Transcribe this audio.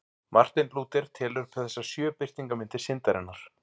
Marteinn Lúther telur upp þessar sjö birtingarmyndir syndarinnar.